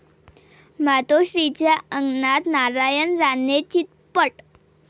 मातोश्रीच्या अंगणात नारायण राणे चितपट